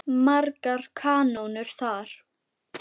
Margar kanónur þar.